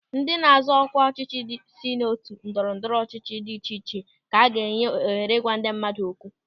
Ndị na-azọ ọkwa ọchịchị si n'otu ndọrọ ndọrọ ọchịchị dị iche iche ka a ga-enye ohere ịgwa ndị mmadụ okwu.